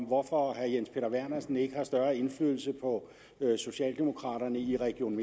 hvorfor herre jens peter vernersen ikke har større indflydelse på socialdemokraterne i region